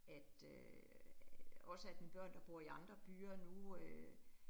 At øh også at mine børn, der bor i andre byer nu øh